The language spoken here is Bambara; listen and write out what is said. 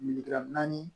naani